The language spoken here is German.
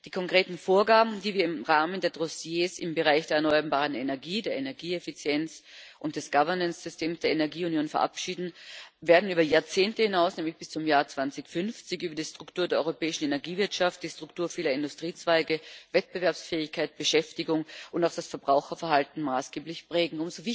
Die konkreten Vorgaben, die wir im Rahmen der Dossiers im Bereich der erneuerbaren Energien, der Energieeffizienz und des Governance Systems der Energieunion verabschieden, werden über Jahrzehnte hinaus, nämlich bis zum Jahr 2050, die Struktur der europäischen Energiewirtschaft, die Struktur vieler Industriezweige, Wettbewerbsfähigkeit, Beschäftigung und auch das Verbraucherverhalten maßgeblich prägen.